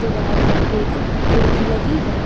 दीवार पर एक खिड़की लगी है।